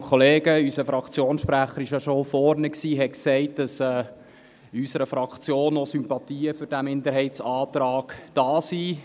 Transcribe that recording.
Unser Fraktionssprecher war ja schon hier vorne und sagte, dass in unserer Fraktion auch Sympathien für diesen Minderheitsantrag vorhanden sind.